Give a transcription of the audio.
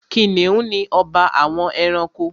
Kìnìún ni ọba àwọn ẹranko.